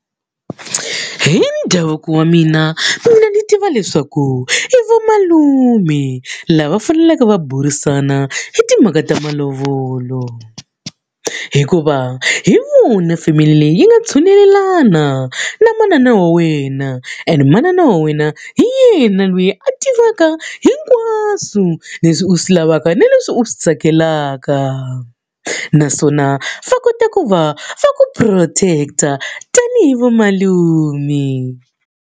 Hi ndhavuko wa mina, mina ni tiva leswaku i vamalume lava faneleke va burisana hi timhaka ta malovolo. Hikuva hi vona family leyi yi nga tshunelelana na manana na wena and manana wa wena hi yena loyi a tivaka hinkwaswo leswi u swi lavaka ni leswi u swi tsakelaka. Naswona va kota ku va va ku protect-a tanihi vamalume.